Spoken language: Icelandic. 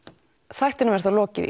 þættinum er þá lokið í